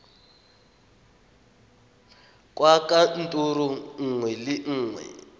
kwa kantorong nngwe le nngwe